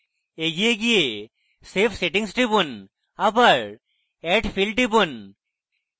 এগিয়ে go save settings টিপুন আবার add field টিপুন